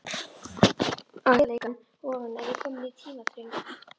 Á heiðarleikann ofan er ég kominn í tímaþröng.